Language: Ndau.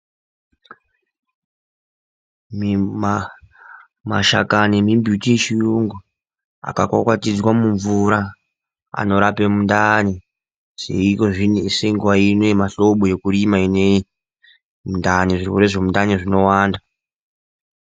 Mashakani nembiti yechiyungu akakwakwatidzwe mumvura anorape mundani. Senguva ino yemuhlobo yekurima ineyi zvirwere zvemundani zvinowanda.